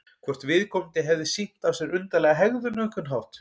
Hvort viðkomandi hefði sýnt af sér undarlega hegðun á einhvern hátt?